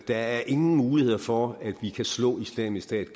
er ingen muligheder for at vi kan slå islamisk stat